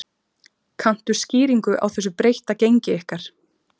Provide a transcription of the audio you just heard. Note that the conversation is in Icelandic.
Kanntu skýringu á þessu breytta gengi ykkar?